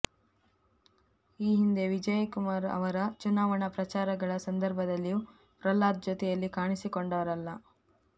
ಈ ಹಿಂದೆ ವಿಜಯಕುಮಾರ್ ಅವರ ಚುನಾವಣಾ ಪ್ರಚಾರಗಳ ಸಂದರ್ಭದಲ್ಲಿಯೂ ಪ್ರಹ್ಲಾದ್ ಜತೆಯಲ್ಲಿ ಕಾಣಿಸಿಕೊಂಡವರಲ್ಲ